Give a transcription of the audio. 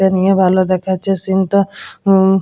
দেখতে নিয়ে ভালো দেখাচ্ছে সিন্ টা উম--